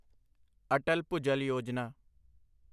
Atal Bhujal Yojana